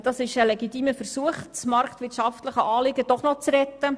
Dies ist ein legitimer Versuch, das marktwirtschaftliche Anliegen doch noch zu retten.